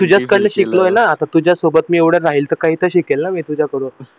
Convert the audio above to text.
तर मी तुझ्याच कडन शिकलोय ना आता तुझ्यासोबत मी एवढं राहीन तर काही तर शिकेल ना तुझ्याकडून